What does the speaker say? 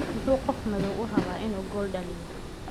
"Muxuu qof madow u rabaa inuu gool dhaliyo?